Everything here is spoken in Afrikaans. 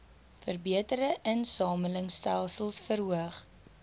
verbeterde insamelingstelsels verhoog